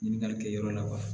Ɲininkali kɛ yɔrɔ la wa